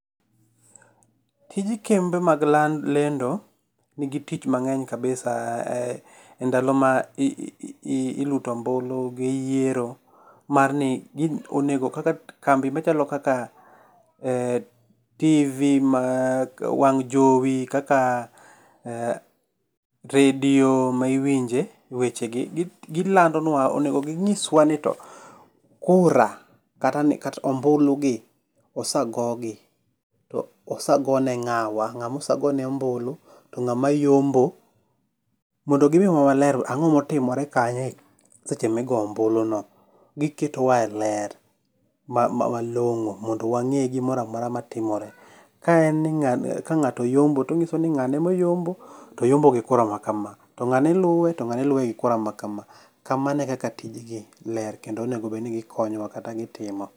Tij kembe mag lendo nigi tich mange'ny kabisa, e ndalo ma iluto ombulu gi yiero, mar ni onego kaka kambi machalo kaka tivi ma wang' jowi kaka, redio ma iwinje wechegi, gilandonwa onego ginyiswa ni to kura kata ombulugi, osagogi to osagone nga'wa to ngawa osegone ombulu to nga'ma yombo, mondo gimiwa e ler ni to ango'ma otimore kanyo e seche ma i goyo ombuluno, giketowa e ler malongo mondo wange gimoro amora matimore, ka en ni nga'to oyombo to onyiso ni ngane moyombo to oyombo gi kura makama to ngane luwe to luwe gi kura makama kamae kaka tijgi ler kendo onego bed ni gikonyowa kata gitimo